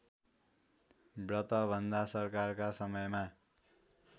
व्रतबन्ध संस्कारका समयमा